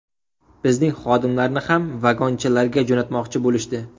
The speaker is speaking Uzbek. Bizning xodimlarni ham ‘vagonchalar’ga jo‘natmoqchi bo‘lishdi.